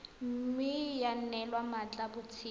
mme ya neelwa mmatla botshabelo